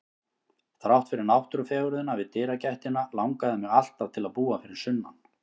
Þrátt fyrir náttúrufegurðina við dyragættina langaði mig alltaf til að búa fyrir sunnan.